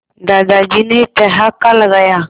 दादाजी ने ठहाका लगाया